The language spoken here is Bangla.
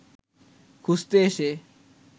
খুঁজতে এসে